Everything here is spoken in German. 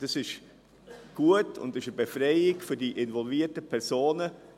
Dies ist gut und eine Befreiung für die involvierten Personen.